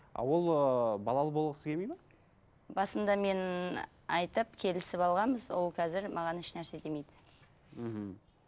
а ол ыыы балалы болғысы келмейді ме басында мен айтып келісіп алғанбыз ол қазір маған ешнәрсе демейді мхм